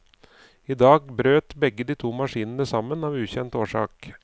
I dag brøt begge de to maskinene sammen av ukjent årsak.